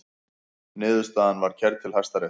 Niðurstaðan var kærð til Hæstaréttar